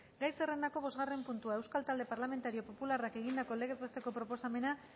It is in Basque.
gai zerrendako bosgarren puntua euskal talde parlamentario popularrak egindako legez besteko proposamena